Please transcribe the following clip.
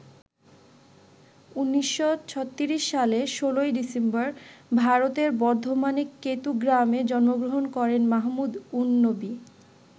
১৯৩৬ সালে ১৬ ডিসেম্বর ভারতের বর্ধমানের কেতু গ্রামে জন্মগ্রহণ করেন মাহমুদ উন-নবী।